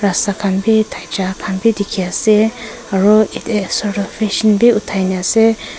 rasta khan b thakia khan b dikhi ase aro a asor du feshing b uthai na ase.